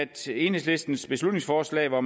til enhedslistens beslutningsforslag hvor